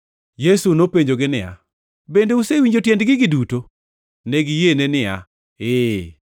Yesu nopenjogi niya, “Bende usewinjo tiend gigi duto?” Ne giyiene niya, “Ee.”